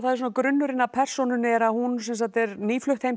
svona grunnurinn að persónunni er að hún er nýflutt heim til